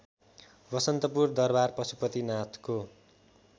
बसन्तपुर दरबार पशुपतिनाथको